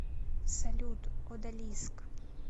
салют одалиск